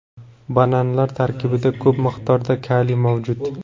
Bananlar tarkibida ko‘p miqdorda kaliy mavjud.